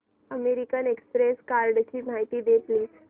American Express कार्डची माहिती दे प्लीज